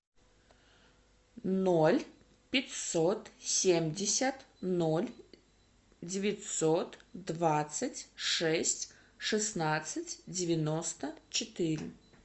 ноль пятьсот семьдесят ноль девятьсот двадцать шесть шестнадцать девяносто четыре